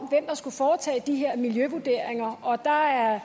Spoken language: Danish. der skulle foretage de her miljøvurderinger og der er